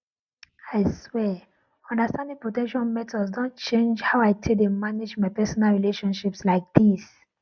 i swear understanding protection methods don change how i take dey maintain my personal relationships like this